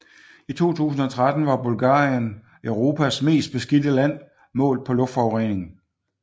I 2013 var Bulgarien Europas mest beskidte land målt på luftforurening